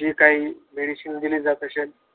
जे काही मेडिसिन दिले जात असेल.